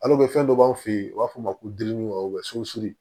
fɛn dɔ b'an fɛ yen u b'a fɔ o ma ko giriki wa sunsun